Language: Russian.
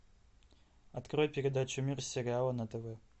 открой передачу мир сериала на тв